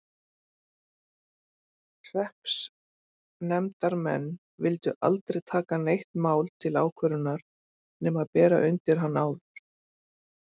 Hreppsnefndarmenn vildu aldrei taka neitt mál til ákvörðunar nema bera undir hann áður.